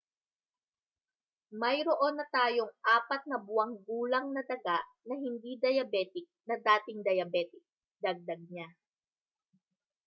mayroon na tayong 4 na buwang gulang na daga na hindi diabetic na dating diabetic dagdag niya